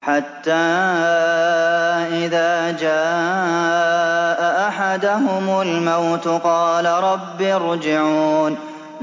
حَتَّىٰ إِذَا جَاءَ أَحَدَهُمُ الْمَوْتُ قَالَ رَبِّ ارْجِعُونِ